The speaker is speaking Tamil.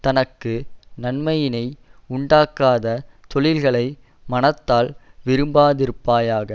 தனக்கு நன்மையினை உண்டாக்காத தொழில்களை மனத்தால் விரும்பாதிருப்பாயாக